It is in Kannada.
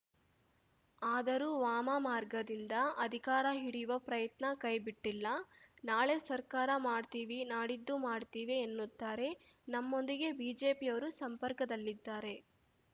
ಆದರೂ ವಾಮಮಾರ್ಗದಿಂದ ಅಧಿಕಾರ ಹಿಡಿಯುವ ಪ್ರಯತ್ನ ಕೈಬಿಟ್ಟಿಲ್ಲ ನಾಳೆ ಸರ್ಕಾರ ಮಾಡ್ತೀವಿ ನಾಡಿದ್ದು ಮಾಡ್ತೀವಿ ಎನ್ನುತ್ತಾರೆ ನಮ್ಮೊಂದಿಗೆ ಬಿಜೆಪಿಯವರೂ ಸಂಪರ್ಕದಲ್ಲಿದ್ದಾರೆ